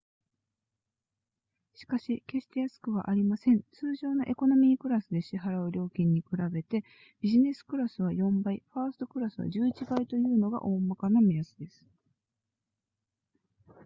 しかし決して安くはありません通常のエコノミークラスで支払う料金に比べてビジネスクラスは4倍ファーストクラスは11倍というのが大まかな目安です